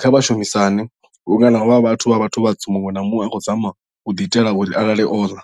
kha vhashumisani vhunga na havha vhathu vha vhathu vhatswu muṅwe na muṅwe a khou zama u ḓi itela uri a lale o ḽa.